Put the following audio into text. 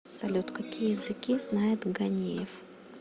салют какие языки знает ганеев